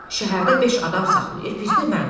Şəhərdə beş adam saxlayır, biri də mən.